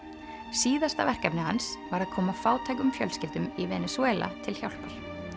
síðasta verkefni hans var að koma fátækum fjölskyldum í Venesúela til hjálpar